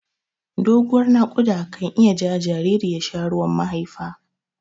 Doguwar naƙuda ka iya jawo jinjiri ya sha ruwan mahaifa.